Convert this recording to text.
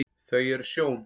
þau eru sjón